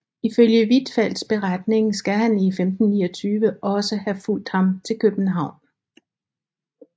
Ifølge Huitfeldts beretning skal han i 1529 også have fulgt ham til København